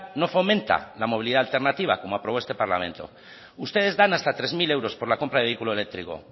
no fomenta la movilidad alternativa como ha aprobado este parlamento ustedes dan hasta tres mil euros por la compra de vehículo eléctrico